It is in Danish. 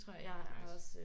Okay. Nice